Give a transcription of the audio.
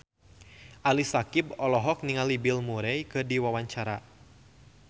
Ali Syakieb olohok ningali Bill Murray keur diwawancara